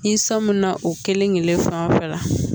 Ni san mun na o kelen kelen fan fɛ la